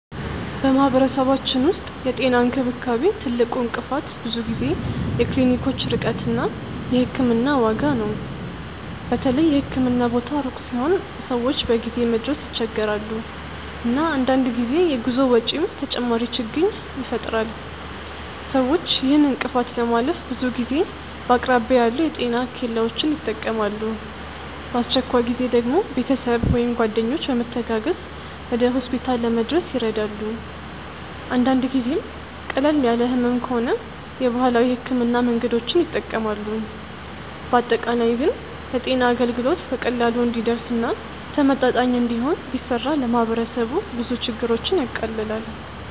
በማህበረሰባችን ውስጥ የጤና እንክብካቤ ትልቁ እንቅፋት ብዙ ጊዜ የክሊኒኮች ርቀት እና የሕክምና ዋጋ ነው። በተለይ የህክምና ቦታ ሩቅ ሲሆን ሰዎች በጊዜ መድረስ ይቸገራሉ፣ እና አንዳንድ ጊዜ የጉዞ ወጪም ተጨማሪ ችግኝ ይፈጥራል። ሰዎች ይህን እንቅፋት ለማለፍ ብዙ ጊዜ በአቅራቢያ ያሉ የጤና ኬላዎችን ይጠቀማሉ፣ በአስቸኳይ ጊዜ ደግሞ ቤተሰብ ወይም ጓደኞች በመተጋገዝ ወደ ሆስፒታል ለመድረስ ይረዳሉ። አንዳንድ ጊዜም ቀለል ያለ ህመም ከሆነ የባህላዊ ሕክምና መንገዶችን ይጠቀማሉ። በአጠቃላይ ግን የጤና አገልግሎት በቀላሉ እንዲደርስ እና ተመጣጣኝ እንዲሆን ቢሰራ ለማህበረሰቡ ብዙ ችግሮችን ያቃልላል።